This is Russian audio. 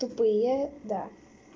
тупые да